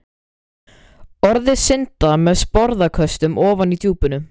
Orðin synda með sporðaköstum ofan í djúpinu.